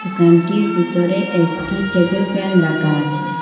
দোকানটির ভিতরে একটি টেবিল ফ্যান রাখা আছে।